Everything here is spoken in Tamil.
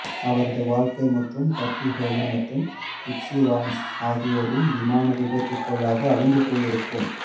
அவரது வாழ்க்கை மற்றும் பட்டி ஹோலி மற்றும் ரிட்சி வால்ன்ஸ் ஆகியோரின் விமானம் விபத்துக்குள்ளாக அழிந்து போயிருக்கும்